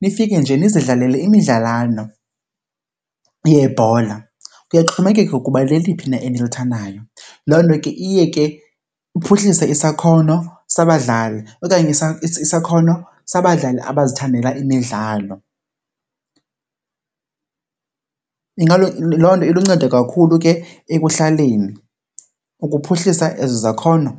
nifike nje nizidlalele imidlalwana yebhola, kuyaxhomekeka ukuba leliphi na enilithandayo. Loo nto ke iye ke iphuhlise isakhono sabadlali okanye isakhono sabadlali abazithandela imidlalo. Loo nto iluncedo kakhulu ke ekuhlaleni ukuphuhlisa ezi zakhono.